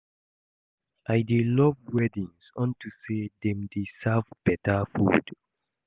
I dey love weddings unto say dem dey serve beta food